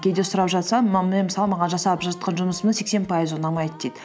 кейде сұрап жатсаң мысалы маған жасап жатқан жұмысымның сексен пайызы ұнамайды дейді